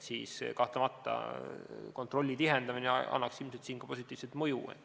Kahtlemata annaks kontrolli tihendamine ilmselt siin ka positiivset mõju.